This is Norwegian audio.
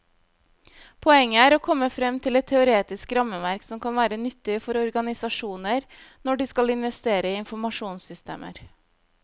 Poenget er å komme frem til et teoretisk rammeverk som kan være nyttig for organisasjoner når de skal investere i informasjonssystemer.